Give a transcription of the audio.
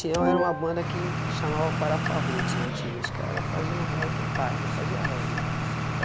era uma banda que chamava parafarruts, na antigas, os cara fazia um reggae paia, não fazia reggae,